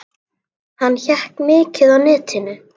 Einsog Mási heitinn bróðir.